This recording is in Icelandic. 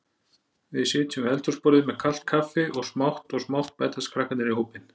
Við sitjum við eldhúsborðið með kalt kaffi og smátt og smátt bætast krakkarnir í hópinn.